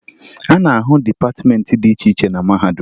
A na-ahụ dịpatịmeentị dị iche iche na mahadum